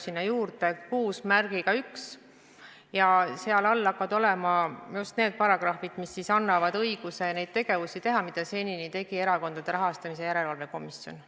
Sinna tuleb juurde peatükk 61 ja seal hakkavad olema paragrahvid, mis annavad õiguse teha neid tegevusi, mida senini tegi Erakondade Rahastamise Järelevalve Komisjon.